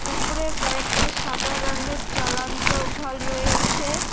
উপরে কয়েকটা সাদা রংয়ের জলন্ত ভল বাল্ব রয়েছে।